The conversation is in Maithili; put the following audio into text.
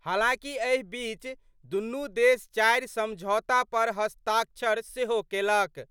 हालांकि एहि बीच दुनू देश चारि समझौता पर हस्ताक्षर सेहो केलक।